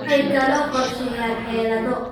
Waxay kaloo qorsheeyaan xeelado